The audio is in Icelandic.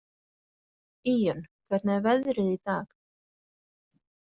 Íunn, hvernig er veðrið í dag?